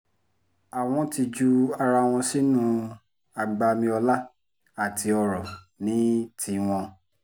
àwọn ti ju ara wọn sínú agbami ọlá àti ọrọ̀ ní tiwọn